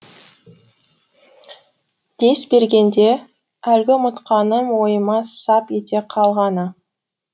дес бергенде әлгі ұмытқаным ойыма сап ете қалғаны